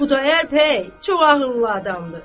Xudayar bəy çox ağıllı adamdır.